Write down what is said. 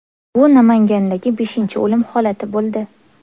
Bu Namangandagi beshinchi o‘lim holati bo‘ldi.